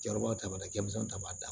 Jaba t'a la denmisɛn ta b'a dan